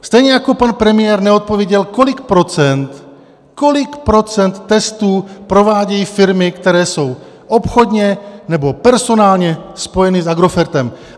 Stejně jako pan premiér neodpověděl, kolik procent testů provádějí firmy, které jsou obchodně nebo personálně spojeny s Agrofertem.